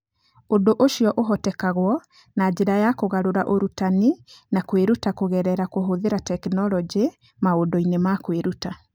Ũndũ ũcio ũhotekagwo na njĩra ya kũgarũra ũrutani na kwĩruta kũgerera kũhũthĩra tekinolonjĩ maũndũ-inĩ ma kwĩruta.